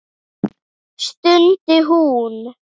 stundi hún.